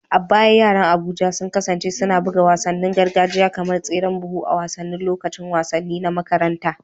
A baya yaran Abuja sun kasance suna buga wasannin gargajiya kamar tseren buhu a wasannin lokacin wasanni na makaranta